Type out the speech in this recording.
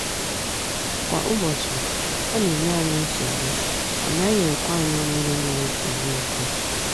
Kwa ụbọchị, ọ na enye anyị nsogbu, ọ naghị ekwe anyị ṅụrụ mmiri tọgbọ iko.